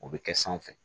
O bɛ kɛ sanfɛ